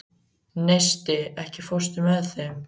Neisti, ekki fórstu með þeim?